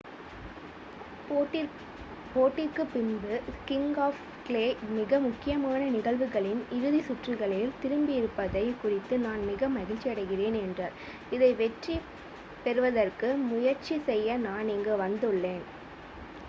"போட்டிக்குப் பின்பு king of clay "மிக முக்கியமான நிகழ்வுகளின் இறுதி சுற்றுகளில் திரும்பியிருப்பதைக் குறித்து நான் மிக மகிழ்ச்சியடைகிறேன்" என்றார். இதை வெற்றி பெறுவதற்கு முயற்சி செய்ய நான் இங்கு வந்துள்ளேன்.""